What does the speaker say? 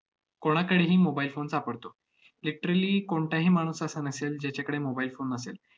कोणाकडेही mobile phone सापडतो. literally कोणताही माणूस असा नसेल, ज्याच्याकडे mobile phone नसेल.